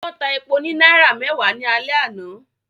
Wọ́n ta epo ní náírà mẹ́wàá ní alẹ́ àná